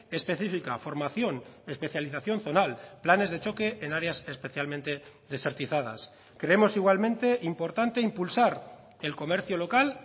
específica formación especialización zonal planes de choque en áreas especialmente desertizadas creemos igualmente importante impulsar el comercio local